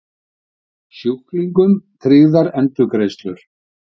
Sjúklingum tryggðar endurgreiðslur